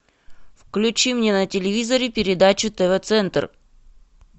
включи мне на телевизоре передачу тв центр